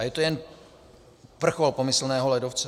A je to jenom vrchol pomyslného ledovce.